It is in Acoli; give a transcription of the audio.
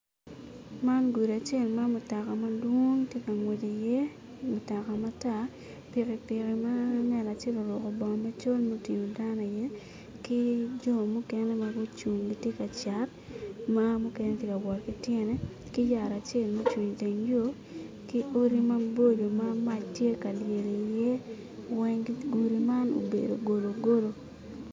Man gudi acel ma mutoka madwong tye ka ngwec iye, mutoka matar, pikipiki ma ngat acel oruko bongo macol mutingo dano iye, ki jo mukene ma gucung gitye ka cat ma mukene tye ka wot ki tyene ki yat acel ma oc, ung iteng yo, ki odi maboco ma mac tye ka lye iye weng gudi man obedo gologolo.